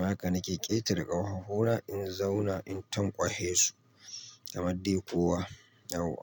Haka na ke ƙetare ƙafafuna in zauna in tanƙwashe su kamar dai kowa Yauwa.